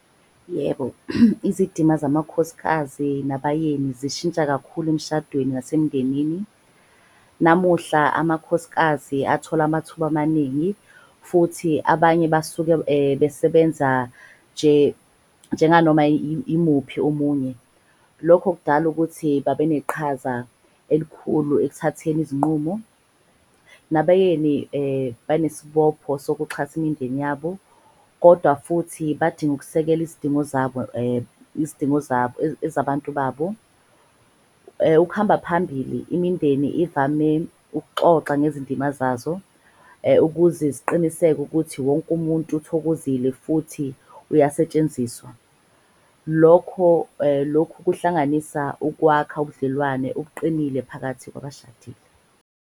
Yebo, izidima zamakhosikazi nabayeni zishintsha kakhulu emshadweni nasemindenini. Namuhla amakhosikazi athola amathuba amaningi futhi abanye basuke besebenza njenganoma imuphi omunye. Lokho kudala ukuthi babe neqhaza elikhulu ekuthatheni izinqumo. Nabayeni banesibopho sokuxhasa imindeni yabo, kodwa futhi badinga ukusekela izidingo zabo izidingo zabo, ezabantu babo. Ukuhamba phambili imindeni ivame ukuxoxa ngezindima zazo [um ukuze ziqiniseke ukuthi wonke umuntu uthokozile futhi uyasetshenziswa. Lokho lokhu kuhlanganisa ukwakha ubudlelwane obuqinile phakathi kwabashadile.